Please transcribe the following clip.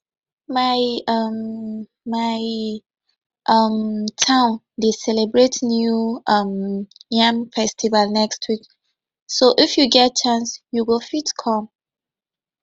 my um my um town dey celebrate new um yam festival next week so if you get chance you go fit come